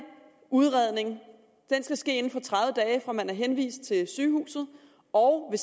udredning skal ske inden for tredive dage fra man er henvist til sygehuset og